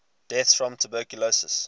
deaths from tuberculosis